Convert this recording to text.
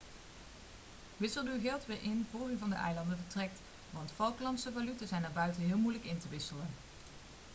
wissel uw geld weer in vóór u van de eilanden vertrekt want falklandse valuta zijn erbuiten heel moeilijk in te wisselen